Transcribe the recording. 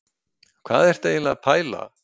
Hvað ertu eiginlega að pæla?